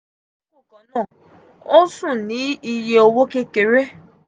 um o sun ní iye owo kekere.